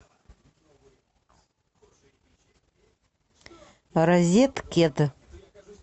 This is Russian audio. розеткед